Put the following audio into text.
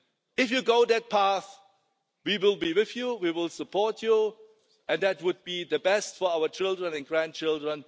If you go that path, we will be with you, we will support you, and that would be the best for our children and grandchildren.